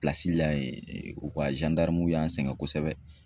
la yen u ka y'an sɛgɛn kosɛbɛ.